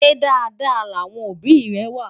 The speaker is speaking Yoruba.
ṣé Dàda láwọn òbí é wà?